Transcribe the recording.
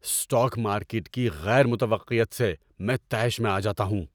Stock market کی غیر متوقعیت سے میں طیش میں آ جاتا ہوں!